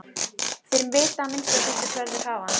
Þeir vita þá að minnsta kosti hvar þeir hafa hann.